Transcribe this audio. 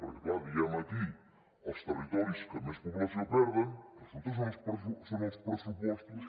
perquè clar diem aquí els territoris que més població perden i resulta que són els pressupostos